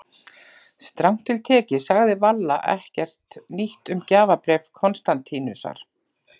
Strangt til tekið sagði Valla ekkert nýtt um gjafabréf Konstantínusar.